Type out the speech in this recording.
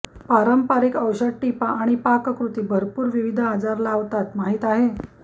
पारंपारिक औषध टिपा आणि पाककृती भरपूर विविध आजार लावतात माहीत आहे